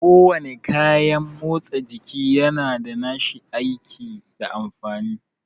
Ko wane kayan motsa jiki yana da nashi aiki da amfani